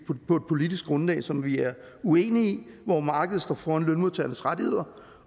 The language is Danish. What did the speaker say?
politisk grundlag som vi er uenige i hvor markedet står foran lønmodtagernes rettigheder